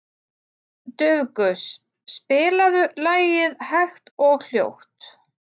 Dufgus, spilaðu lagið „Hægt og hljótt“.